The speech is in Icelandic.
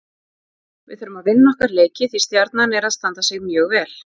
Við þurfum að vinna okkar leiki því Stjarnan er að standa sig mjög vel.